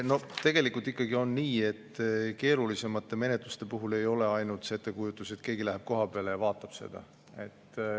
Tegelikult ikkagi on nii, et keerulisemate menetluste puhul ei ole ainult see ettekujutus, et keegi läheb kohapeale ja vaatab seda.